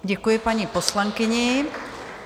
Děkuji paní poslankyni.